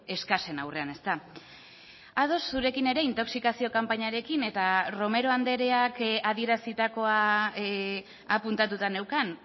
eskasen aurrean ezta ados zurekin ere intoxikazio kanpainarekin eta romero andreak adierazitakoa apuntatuta neukan